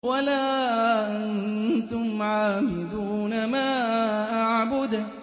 وَلَا أَنتُمْ عَابِدُونَ مَا أَعْبُدُ